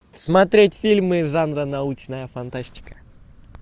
смотреть фильмы жанра научная фантастика